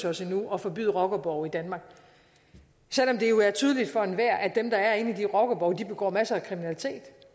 os endnu at forbyde rockerborge i danmark selv om det jo er tydeligt for enhver at dem der er inde i de rockerborge begår masser af kriminalitet